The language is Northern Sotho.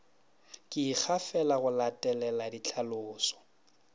ke ikgafela go latelela dihlalošo